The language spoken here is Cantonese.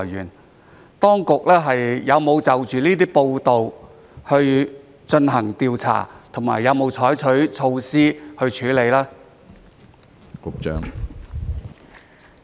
請問當局有沒有就着這些報道進行調查和採取措施處理呢？